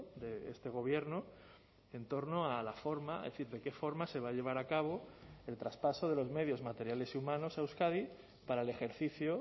de este gobierno en torno a la forma es decir de qué forma se va a llevar a cabo el traspaso de los medios materiales y humanos a euskadi para el ejercicio